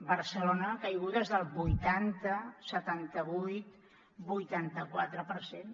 barcelona caigudes del vuitanta setanta vuit vuitanta quatre per cent